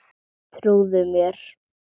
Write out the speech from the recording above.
Trúðu mér!